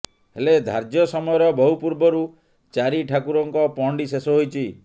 ହେଲେ ଧାର୍ଯ୍ୟ ସମୟର ବହୁ ପୂର୍ବରୁ ଚାରିଠାକୁରଙ୍କ ପହଣ୍ଡି ଶେଷ ହୋଇଛି